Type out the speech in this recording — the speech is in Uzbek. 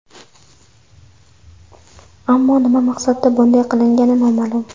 Ammo nima maqsadda bunday qilingani noma’lum.